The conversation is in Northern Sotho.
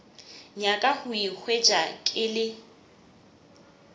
nyaka go ikhwetša ke le